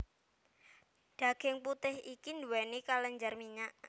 Daging putih iki nduweni kelenjar minyak